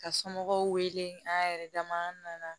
Ka somɔgɔw wele an yɛrɛ dama an nana